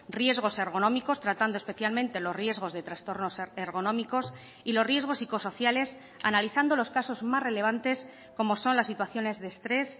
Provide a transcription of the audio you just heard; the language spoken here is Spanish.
riesgos ergonómicos tratando especialmente los riesgos de trastornos ergonómicos y los riesgos psicosociales analizando los casos más relevantes como son las situaciones de estrés